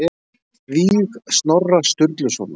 Víg Snorra Sturlusonar